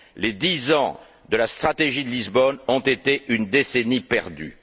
Les dix ans de la stratégie de Lisbonne ont été une décennie perdue.